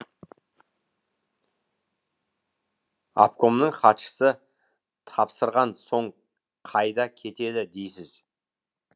обкомның хатшысы тапсырған соң қайда кетеді дейсіз